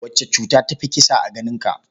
Wace cuta ta fi kisa a ganinka?